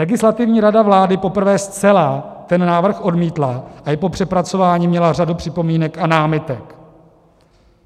Legislativní rada vlády poprvé zcela ten návrh odmítla a i po přepracování měla řadu připomínek a námitek.